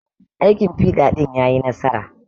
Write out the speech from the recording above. Aikin fiɗa ɗin yayi nasara.